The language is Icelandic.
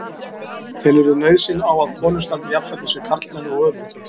Telurðu nauðsyn á að konur standi jafnfætis á við karlmenn og öfugt?